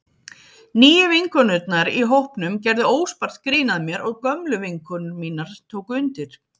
Nýju vinkonurnar í hópnum gerðu óspart grín að mér og gömlu vinkonur mínar tóku undir.